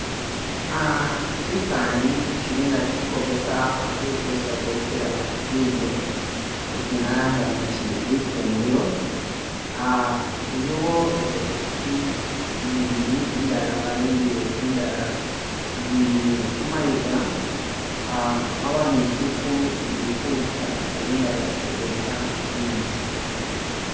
Uh Kyifani kili nga kili ikwogesa akuntu wesi batekela bidyo isi inyala nalangawo nti lifumbilo uhh iliwo isepikyi nzibili indala babimbile kundala, zili kumayiga uh ziliku zili kusha bali nga kundeka bilyo